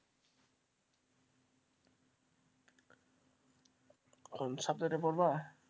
কোন subject পড়বা,